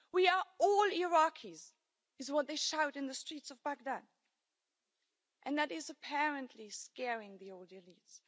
We are all Iraqis is what they shout in the streets of Baghdad, and that is apparently scaring the old elites.